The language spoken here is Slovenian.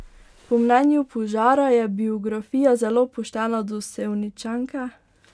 Po mnenju Požara je biografija zelo poštena do Sevničanke.